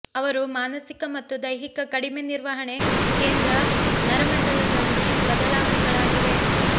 ಅವರು ಮಾನಸಿಕ ಮತ್ತು ದೈಹಿಕ ಕಡಿಮೆ ನಿರ್ವಹಣೆ ಕೇಂದ್ರ ನರಮಂಡಲದಲ್ಲಿ ಬದಲಾವಣೆಗಳಾಗಿವೆ